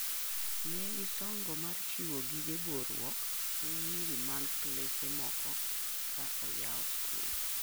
Ne gisongo mar chiwo gige boruok ne nyiri mag klese moko ka oyau sikul.